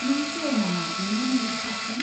नों सिय'र नामा बेनो नोंनि साबसिन?